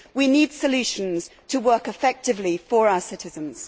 We need solutions to work effectively for our citizens.